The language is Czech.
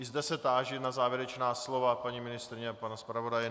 I zde se táži na závěrečná slova paní ministryně a pana zpravodaje.